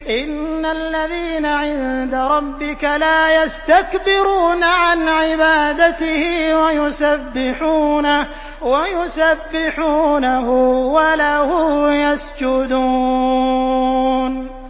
إِنَّ الَّذِينَ عِندَ رَبِّكَ لَا يَسْتَكْبِرُونَ عَنْ عِبَادَتِهِ وَيُسَبِّحُونَهُ وَلَهُ يَسْجُدُونَ ۩